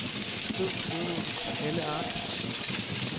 Skriv fodnote på alle ark.